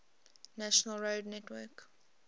national road network